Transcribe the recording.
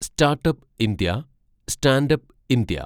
startup India, standup India